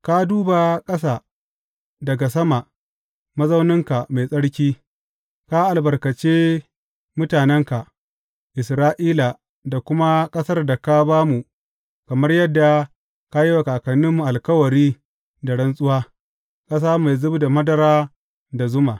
Ka duba ƙasa daga sama, mazauninka mai tsarki, ka albarkace mutanenka Isra’ila da kuma ƙasar da ka ba mu kamar yadda ka yi wa kakanninmu alkawari da rantsuwa, ƙasa mai zub da madara da zuma.